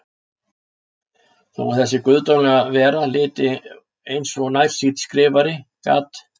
Þó að þessi guðdómlega vera liti út eins og nærsýnn skrifari, gat